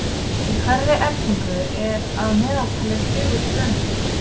Í hverri eldingu eru að meðaltali fjögur straumhögg.